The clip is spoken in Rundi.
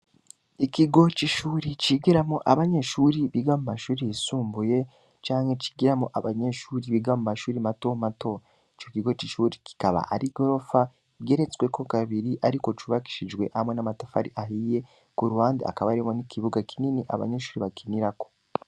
Ikigo c'ishure cigiramwo abanyeshuri biga mu mashure yisumbuye canke cigiramwo abanyeshure biga mu mashure mato mato, ico kigo c'ishure kikaba ari igorofa igeretsweko kabiri ariko cubakishijwe hamwe n'amatafari ahiye kuruhande hakaba hariho n'ikibuga kinini abanyeshure bakinirako.